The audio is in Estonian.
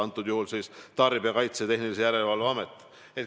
Ma pean silmas Tarbijakaitse ja Tehnilise Järelevalve Ameti valdkonda.